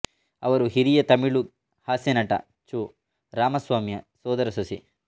ಅವರು ಹಿರಿಯ ತಮಿಳು ಹಾಸ್ಯನಟ ಚೋ ರಾಮಸ್ವಾಮಿಯ ಸೋದರ ಸೊಸೆ